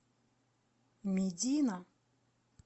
медина